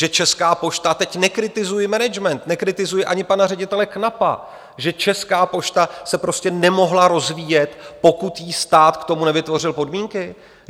Že Česká pošta - teď nekritizuji management, nekritizuji ani pana ředitele Knapa - že Česká pošta se prostě nemohla rozvíjet, pokud jí stát k tomu nevytvořil podmínky?